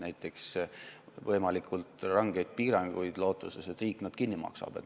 Näiteks on räägitud võimalikult rangetest piirangutest, lootuses, et riik need kinni maksab.